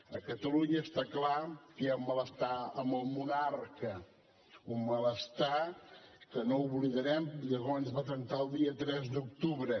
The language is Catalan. a catalunya està clar que hi ha malestar amb el monarca un malestar que no oblidarem i llavors es va trencar el dia tres d’octubre